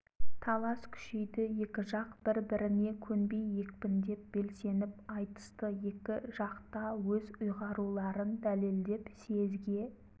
талас күшейді екі жақ бір-біріне көнбей екпіндеп белсеніп айтысты екі жақ та өз ұйғаруларын дәлелдеп съезге